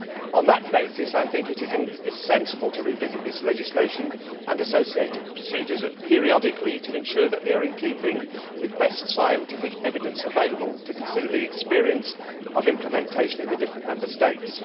On that basis, I think it is sensible to revisit this legislation and associated procedures periodically to ensure that they are in keeping with the best scientific evidence available and to consider the experience of implementation in the different Member States.